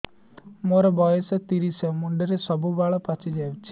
ମୋର ବୟସ ତିରିଶ ମୁଣ୍ଡରେ ସବୁ ବାଳ ପାଚିଯାଇଛି